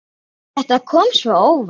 Þetta kom svo óvænt.